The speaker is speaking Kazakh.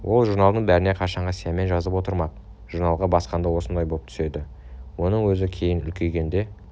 ол журналдың бәріне қашанғы сиямен жазып отырмақ журналға басқанда осындай боп түседі оны өзің кейін үлкейгенде